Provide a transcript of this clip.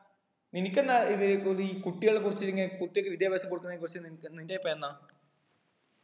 നിനക്ക് എന്താ ഇത് ഇതീ കുട്ടികളെ കുറിച്ചിട്ടിങ്ങനെ വിദ്യാഭ്യാസം കൊടുക്കുന്നതിനെ കുറിച്ച് നിനക്ക് നിന്റെ അഭിപ്രായം എന്നാ